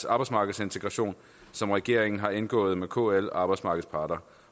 arbejdsmarkedsintegration som regeringen har indgået med kl og arbejdsmarkedets parter